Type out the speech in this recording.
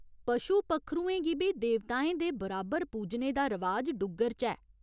पशु पक्खरुएं गी बी देवताएं दे बराबर पूजने दा रवाज डुग्गर च ऐ।